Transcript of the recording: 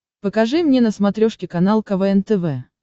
покажи мне на смотрешке канал квн тв